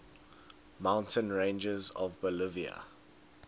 mountain ranges of bolivia